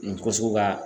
Nin ko sugu ka